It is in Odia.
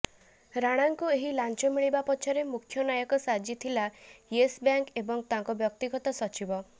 ରାଣାଙ୍କୁ ଏହି ଲାଞ୍ଚ ମିଳିବା ପଛରେ ମୁଖ୍ୟ ନାୟକ ସାଜିଥିଲା ୟେସ୍ ବ୍ୟାଙ୍କ ଏବଂ ତାଙ୍କ ବ୍ୟକ୍ତିଗତ ସଚିବ